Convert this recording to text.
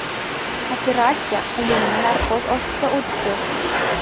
Operatsiya umumiy narkoz ostida o‘tdi.